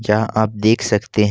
यहां आप देख सकते हैं।